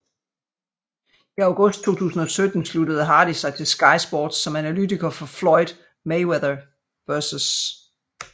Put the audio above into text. I august 2017 sluttede Hardy sig til Sky Sports som analytiker for Floyd Mayweather vs